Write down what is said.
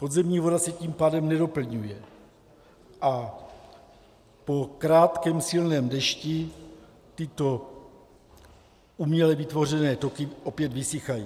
Podzemní voda se tím pádem nedoplňuje a po krátkém silném dešti tyto uměle vytvořené toky opět vysychají.